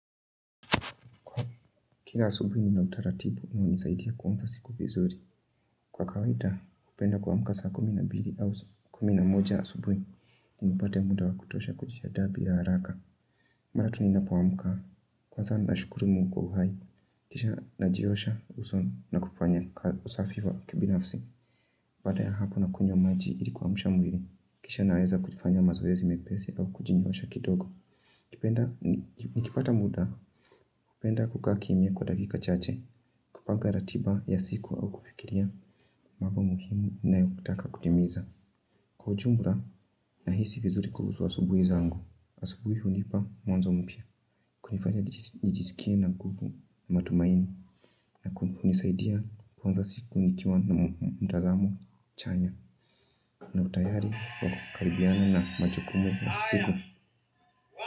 Kila asubuhi nina utaratibu na hunisaidia kuanza siku vizuri. Kwa kawaida, hupenda kuamka saa kumi na mbili au kumi na moja asubuhi. Ili nipate muda wa kutosha kujiandaa bila haraka. Mara tu ninapoamka kwanza nashukuru Mungu kwa uhai. Kisha najiosha uso na kufanya usafi wa kibinafsi. Baada ya hapo nakunywa maji ili kuamsha mwili. Kisha naweza kufanya mazoezi mepesi au kujinyoosha kidogo. Nikipata muda. Hupenda kukaa kimya kwa dakika chache. Kupanga ratiba ya siku au kufikiria mambo muhimu nayotaka kutimiza. Kwa ujumla, nahisi vizuri kuhusu wa subuhi zangu. Asubuhi hunipa mwanzo mpya. Kunifanya nijisikie na nguvu na matumaini na hunisaidia kuanza siku nikiwa na mtazamo chanya na utayari wakukaribiana na majukumu ya siku.